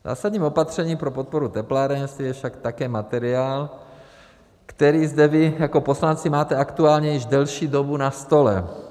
Zásadním opatřením pro podporu teplárenství je však také materiál, který zde vy jako poslanci máte aktuálně již delší dobu na stole.